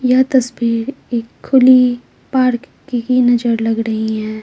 यह तस्वीर एक खुली पार्क की नजर लग रही है।